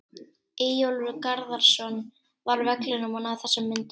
Eyjólfur Garðarsson var á vellinum og náði þessum myndum.